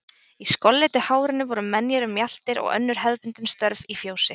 Í skolleitu hárinu voru menjar um mjaltir og önnur hefðbundin störf í fjósi.